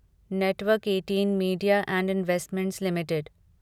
network eighteen media and investment limited